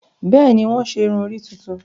Bẹẹni, wọn ṣe irun-ori tuntun